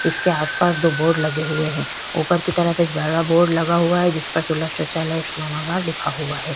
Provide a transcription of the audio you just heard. इसके आस-पास दो बोर्ड लगे हुए है ऊपर की तरफ बड़ा बोर्ड लगा हुआ है जिसपर सुलभ सौचालय स्नानागार लिखा हुआ है ।